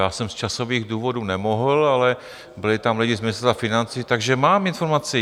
Já jsem z časových důvodů nemohl, ale byli tam lidé z Ministerstva financí, takže mám informaci.